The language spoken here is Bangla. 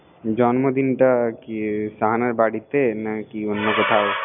জন্মদিন টা কি শাহানার বাড়িতে না অন্য কোথাও